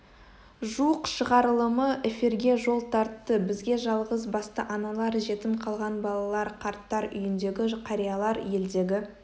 жуық шығарылымы эфирге жол тартты бізге жалғыс басты аналар жетім қалған балалар қарттар үйіндегі қариялар елдегі